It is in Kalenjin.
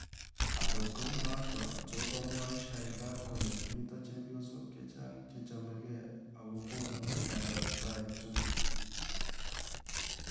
Angook kouunootok, tokoomwaae Shaykaa kolee mitoo chepyoosook chechaang' chechamegeei, akogoonu baanda ap tai tugul